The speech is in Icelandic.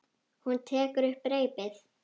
Hún tekur upp reipið.